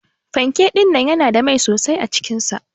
Panke dinnan yana da mai sosai acikin sa.